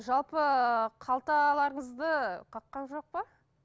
жалпы қалталарыңызды қаққан жоқ па